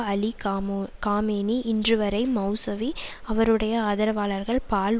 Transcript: அலி காமோ காமேனி இன்றுவரை மெளசவி அவருடைய ஆதரவாளர்கள் பால்